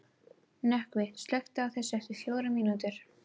Nökkvi, slökktu á þessu eftir fjórar mínútur.